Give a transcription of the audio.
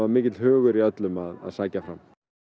mikill hugur í öllum að sækja fram